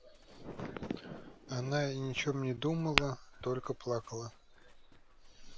но она ни о чём не думала только плакала